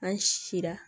An si la